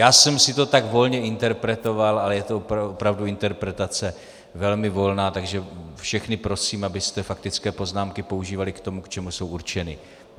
Já jsem si to tak volně interpretoval, ale je to opravdu interpretace velmi volná, takže všechny prosím, abyste faktické poznámky používali k tomu, k čemu jsou určeny.